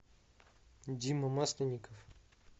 дима масленников